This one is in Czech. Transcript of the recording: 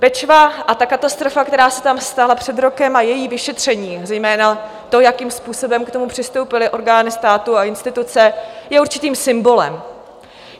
Bečva a ta katastrofa, která se tam stala před rokem, a její vyšetření, zejména to, jakým způsobem k tomu přistoupily orgány státu a instituce, je určitým symbolem.